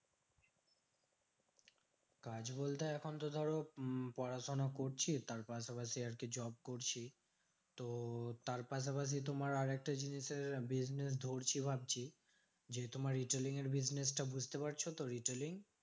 কাজ বলতে এখন তো ধরো উম পড়াশোনা করছি ওটার পাশাপাশি আরকি job করছি। তো তার পাশাপাশি তোমার আরেকটা জিনিসের business ধরছি ভাবছি। যে তোমার retailing এর business টা বুঝতে পারছো তো retailing?